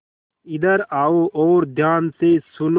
इधर आओ और ध्यान से सुनो